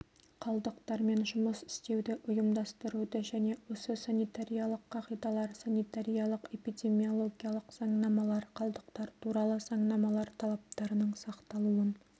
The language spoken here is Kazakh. қалдықтармен жұмыс істеуді ұйымдастыруды және осы санитариялық қағидалар санитариялық-эпидемиологиялық заңнамалар қалдықтар туралы заңнамалар талаптарының сақталуын